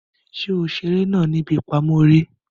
Ṣe o ṣeré náà ní ibí ipamọ eré?